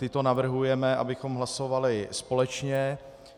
Tyto navrhujeme, abychom hlasovali společně.